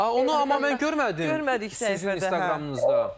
A onu amma mən görmədim sizin İnstagramınızda.